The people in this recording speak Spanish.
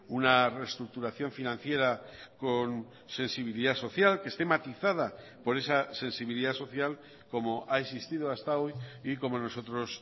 una reestructuración financiera con sensibilidad social que esté matizada por esa sensibilidad social como ha existido hasta hoy y como nosotros